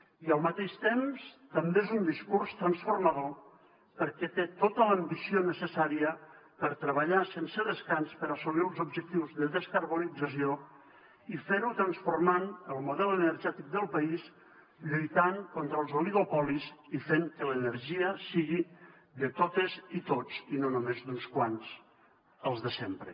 i al mateix temps també és un discurs transformador perquè té tota l’ambició necessària per treballar sense descans per assolir els objectius de descarbonització i ferho transformant el model energètic del país lluitant contra els oligopolis i fent que l’energia sigui de totes i tots i no només d’uns quants els de sempre